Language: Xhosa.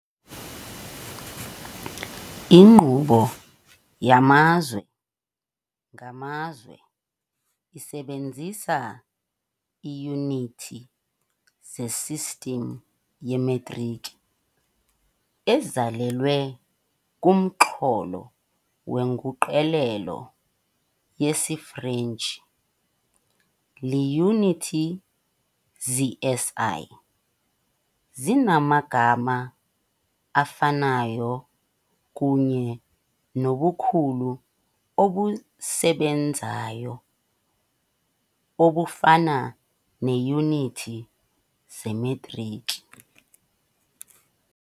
Inkqubo yamazwe ngamazwe isebenzisa iiyunithi zesistim yemetriki ezalelwe kumxholo weNguqulelo yesiFrentshi - Iiyunithi ze-SI zinamagama afanayo kunye nobukhulu obusebenzayo obufana neeyunithi zemetriki.